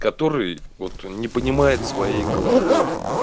который вот не понимает своей головой